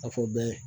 A fɔ bɛɛ